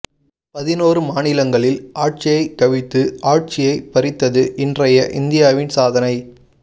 பதினோரு மாநிலங்களில் ஆட்சியை கவிழ்த்து ஆட்சியை பறித்தது இன்றைய இந்தியாவின் சாதனை